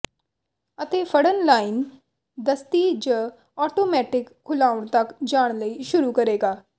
ਅਤੇ ਫੜਨ ਲਾਈਨ ਦਸਤੀ ਜ ਆਟੋਮੈਟਿਕ ਖੁਆਉਣਾ ਤੱਕ ਜਾਣ ਲਈ ਸ਼ੁਰੂ ਕਰੇਗਾ